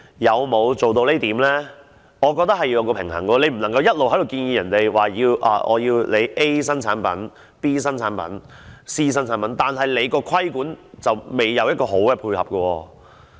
我認為必須作出平衡，你不能一面建議大家要接受 A 新產品、B 新產品、C 新產品，但你在規管上卻沒有好好配合。